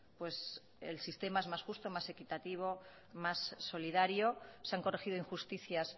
pues el sistema es más justo más equitativo más solidario se han corregido injusticias